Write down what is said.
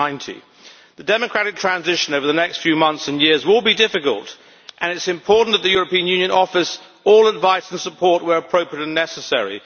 1990. The democratic transition over the next few months and years will be difficult, and it is important that the European Union offers all advice and support where appropriate and necessary.